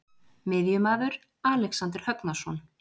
Miðjumaður: Alexander Högnason.